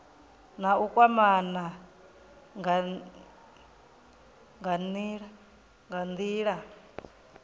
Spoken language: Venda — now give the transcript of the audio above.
na u kwamana nga nila